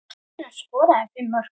Hver þeirra skoraði fimm mörk.